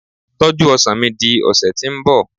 tọju ọsàn mi di ọsẹ ti nbọ